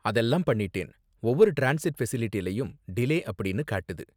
அதெல்லாம் பண்ணிட்டேன், ஒவ்வொரு டிரான்ஸிட் ஃபெசிலிட்டிலயும் டிலே அப்படின்னு காட்டுது.